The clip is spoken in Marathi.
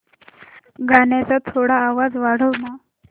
गाण्याचा थोडा आवाज वाढव ना